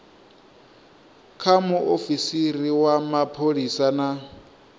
kha muofisiri wa mapholisa na